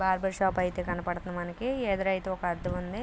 Barber shop అయితే కనబడుతుంది. మనకి ఎదురైతే ఒక అద్దం ఉంది.